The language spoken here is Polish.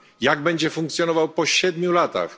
Jak będzie funkcjonował po siedmiu latach?